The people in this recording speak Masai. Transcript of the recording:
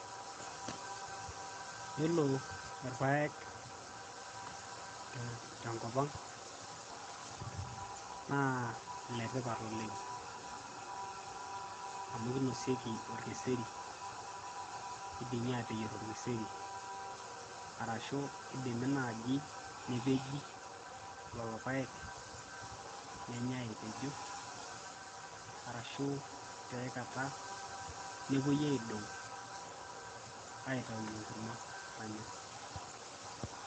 yiolo irpayek tenkop ang naa iletipat oleng amu kinosieki orkeseri idimi ateyierr orkeseri arashu idimi naaji nepeji lolo payek nenyae epejo arashu tiae kata nepuoi aidong aitaunyie enkurma nanyae.